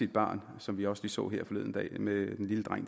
barn som vi også så her forleden dag med den lille dreng